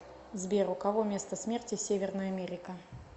сбер у кого место смерти северная америка